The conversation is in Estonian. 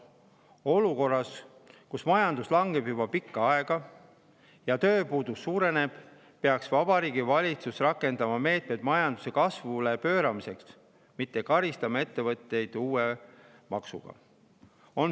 Olukorras, kus majandus langeb juba pikka aega ja tööpuudus suureneb, peaks Vabariigi Valitsus rakendama meetmeid majanduse kasvule pööramiseks, mitte karistama ettevõtjaid uue maksuga.